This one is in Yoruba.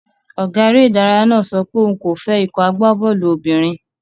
Ọ̀gá eré náà sọ pé òun kò fẹ́ ikọ̀ agbábọ́ọ̀lù obìnrin.